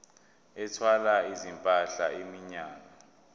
ethwala izimpahla iminyaka